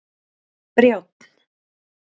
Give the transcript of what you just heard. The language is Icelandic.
Brjánn